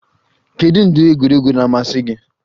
Kedu ụdị egwuregwu na-amasị gị?